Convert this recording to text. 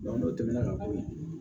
n'o tɛmɛna ka bɔ yen